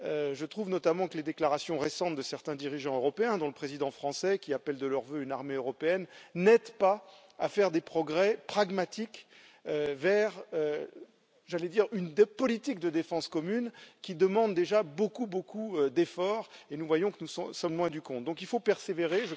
Je trouve notamment que les déclarations récentes de certains dirigeants européens, dont le président français, qui appellent de leurs vœux une armée européenne, n'aident pas à faire des progrès pragmatiques vers, j'allais dire, une politique de défense commune qui demande déjà beaucoup beaucoup d'efforts, et nous voyons que nous sommes loin du compte. Donc il faut persévérer.